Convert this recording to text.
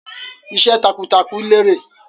Iṣẹ́ takuntakun lérè.